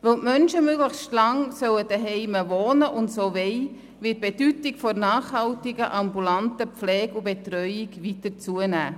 Weil die Menschen möglichst lange zu Hause wohnen sollen und dies auch wollen, wird die Bedeutung der nachhaltigen ambulanten Pflege und Betreuung weiter zunehmen.